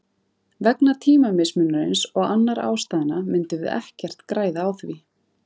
Vegna tímamismunarins og annarra ástæðna myndum við ekkert græða á því.